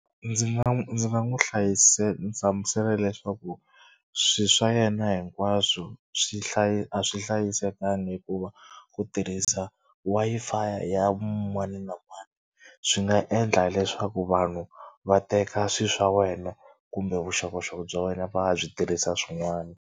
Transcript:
Ndzi nga ndzi nga n'wi hlamusela leswaku swilo swa yena hinkwaswo swi a swi hlayisekanga hikuva ku tirhisa Wi-Fi ya mani na mani swi nga endla leswaku vanhu va teka swilo swa wena kumbe vuxokoxoko bya wena va ya byi tirhisa swin'wana.